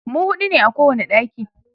mu huɗu ne a kowani ɗaki